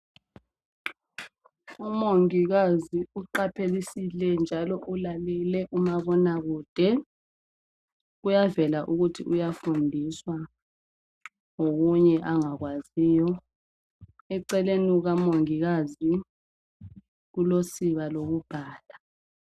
umongikazi uqaphelisile njalo ulalele umabona kude kuyavela ukuthi uyafundiswa ngokunye angakwaziyo eceleni kukamongikazi kulosiba lokubhala